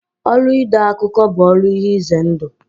Ọrụ ide akụkọ bụ ọrụ ihe ize ndụ.